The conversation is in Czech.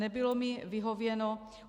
Nebylo mi vyhověno.